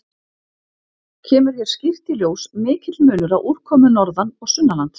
Kemur hér skýrt í ljós mikill munur á úrkomu norðan- og sunnanlands.